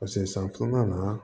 san filanan na